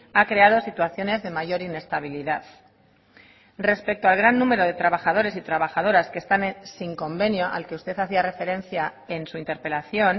ha creado situaciones de mayor inestabilidad respecto al gran número de trabajadores y trabajadoras que están sin convenio al que usted hacía referencia en su interpelación